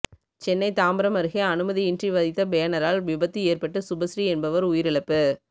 சென்னை தாம்பரம் அருகே அனுமதியின்றி வைத்த பேனரால் விபத்து ஏற்பட்டு சுபஸ்ரீ என்பவர் உயிரிழப்பு